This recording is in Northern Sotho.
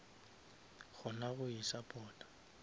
kgona go isupporta